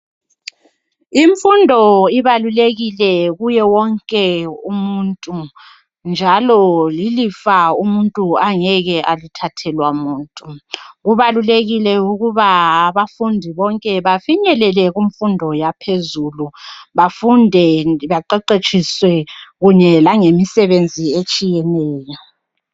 Imfundo ibalulekile kuye wonke umuntu, njalo lilifa umuntu angeke alithathelwa muntu. Kubalulekile ukuba abafundi bonke bafinyelele kumfundo yaphezulu ,bafunde ,baqeqetshiswe kunye langemisebenzi etshiyeneyo .